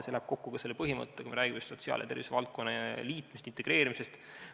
See läheb kokku ka selle põhimõttega, kui me räägime sotsiaal- ja tervisevaldkonna liitmisest, integreerimisest.